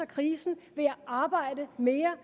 krisen ved at arbejde mere